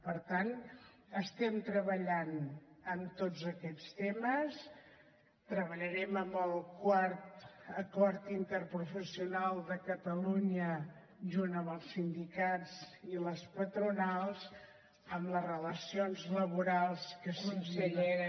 per tant estem treballant en tots aquests temes treballarem amb el quart acord interprofessional de catalunya junt amb els sindicats i les patronals amb les relacions laborals que siguin